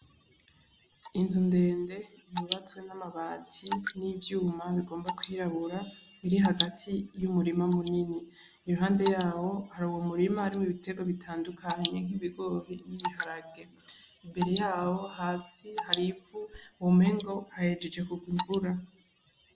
Inzu ndende yubatswe n'amabati n'ivyuma bigomba kwirabura iri hagati y'umurima munini iruhande yawo hari uwo murima ari mwibiterwa bitandukanye nk'ibigori n'ibiharage imbere yawo hasi harivu womengo hahejeje kurwa imvura.